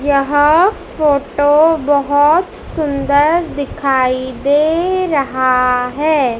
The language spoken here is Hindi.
यहं फोटो बहोत सुंदर दिखाई दे रहा है।